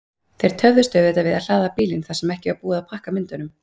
Þeir töfðust auðvitað við að hlaða bílinn þar sem ekki var búið að pakka myndunum.